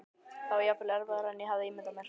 Það var jafnvel erfiðara en ég hafði ímyndað mér.